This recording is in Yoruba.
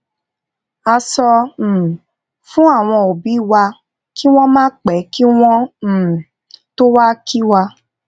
a sọ um fún àwọn obi wa kí wón máa pè kí wón um tó wá kí wa